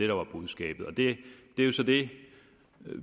var budskabet det er jo så det